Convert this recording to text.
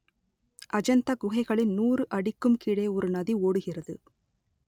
அஜந்தா குகைகளின் நூறு அடிக்கும் கீழே ஒரு நதி ஓடுகிறது